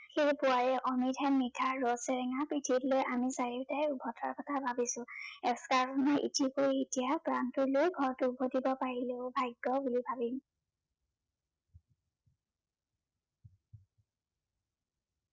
সেয়েহে পোৱাই অমৃত হেন মিঠা ৰদ চেৰেঙা পিঠিত লৈ আমি চৰিওতাই উভতাৰ কথা ভাবিছো । প্ৰানতো লৈ ঘৰত উভতিব পাৰিলেও ভাগ্য বুলি ভাবিম